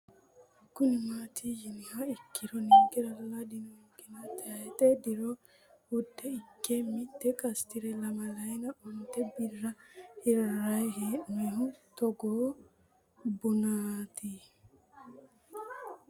Kuni maati yinumoha ikiro ninkerala dino kena tayixe diro wude Ike mite qasitire lamalayina onte bira hirayi henonihu Togo buninit